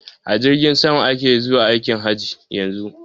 A jirgin sama ake zuwa aikin haji a yanzun.